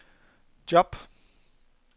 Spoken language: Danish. job